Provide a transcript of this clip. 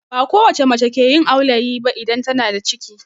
Ba kowacce mace ke yin aulayi ba idan tana da ciki